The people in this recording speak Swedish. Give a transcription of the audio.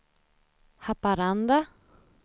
Haparanda